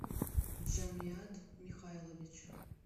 джамиат михайлович